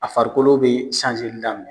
A farikolo be daminɛ.